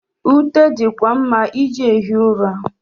Ute di kwa mma iji ehi ụra.